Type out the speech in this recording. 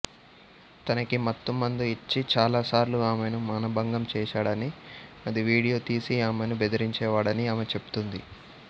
తనకి మత్తుమందు ఇచ్చి చలా సార్లు ఆమెను మానభంగం చేశాడని అది విడియో తిసి అమెను బెదిరించెవాడని ఆమె చెప్తుంది